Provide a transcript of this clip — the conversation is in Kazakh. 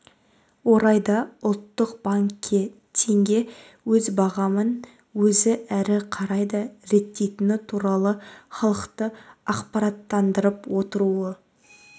орайда ұлттық банкке теңге өз бағамын өзі әрі қарай да реттейтіні туралы халықты ақпараттандырып отыруы